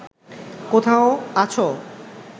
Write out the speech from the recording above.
কোথাও আছো